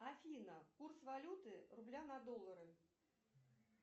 афина курс валюты рубля на доллары